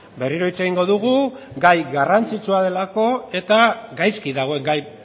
berriro hitz egingo dugu gai garrantzitsua delako eta gaizki dagoen gai